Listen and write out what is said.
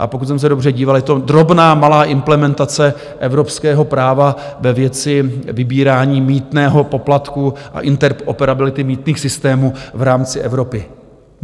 A pokud jsem se dobře díval, je to drobná malá implementace evropského práva ve věci vybírání mýtného, poplatků a interoperability mýtných systémů v rámci Evropy.